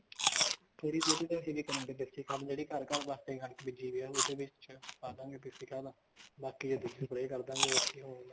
ਥੋੜੀ ਬਹੁਤ ਤਾਂ ਅਸੀਂ ਵੀ ਬਣਾਈ ਦੇਸੀ ਖਾਦ ਜਿਹੜੀ ਘਰ ਘਰ ਵਾਸਤੇ ਕਣਕ ਬੀਜੀ ਹੋਈ ਆ ਉਹ ਤੇ ਵੀ ਪਾ ਦਵਾਂਗੇ ਦੇਸੀ ਖਾਧ ਬਾਕੀ ਚ ਦੂਜੀ spray ਕਰਦਾਂਗੇ ਹੋਰ ਕੀ ਆ